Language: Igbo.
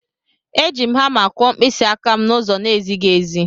Eji m hama kụọ mkpịsị aka m n'ụzọ na-ezighị ezi